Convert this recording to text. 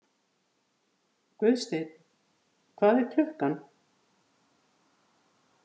Guðsteinn, hvað er klukkan?